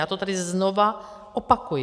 Já to tady znova opakuji.